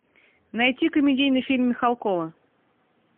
найти комедийный фильм михалкова